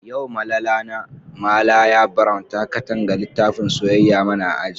Yau Malala na, Malaya brown ta Katanga litafin soyayya mana a aji.